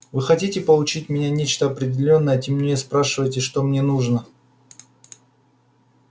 вы хотите получить меня нечто определённое и тем не менее спрашиваете что мне нужно